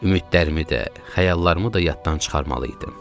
Ümidlərimi də, xəyallarımı da yaddan çıxarmalı idim.